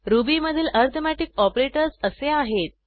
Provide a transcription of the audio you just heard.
रुबीमधील arithmetic operators असे आहेत